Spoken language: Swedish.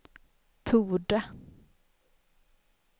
torde